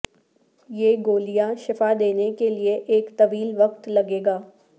یہ گولیاں شفا دینے کے لئے ایک طویل وقت لگے گا